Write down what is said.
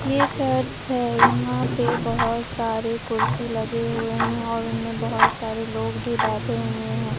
ये चर्च है यहां पे बहोत सारे कुर्सी लगे हुए हैं और उनमें बहोत सारे लोग भी बैठे हुए है।